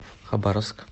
хабаровск